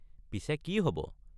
পিছে কি হব?